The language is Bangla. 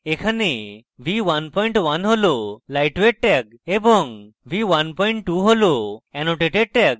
এখানে v11 হল lightweight tag এবং v12 হল annotated tag